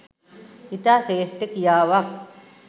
ඉතා ශ්‍රේෂ්ඨ ක්‍රියාවක්.